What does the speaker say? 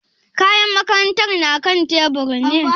Kayan makarantar na kan tebur ne?